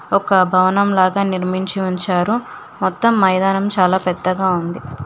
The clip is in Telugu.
ఒక భవనం లాగా నిర్మించి ఉంచారు మొత్తం మైదానం చాలా పెద్దగా ఉంది.